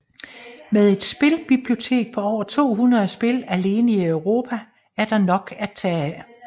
Med et spilbibliotek på over 200 spil alene i Europa er der nok at tage af